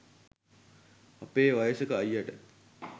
අපේ වයසක අයියට